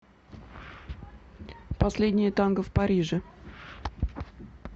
последнее танго в париже